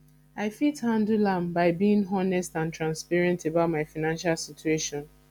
i fit handle am by being honest and transparent about my financial situation